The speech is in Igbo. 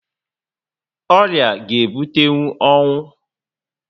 Ọrịa ga ebutenwu ọnwụ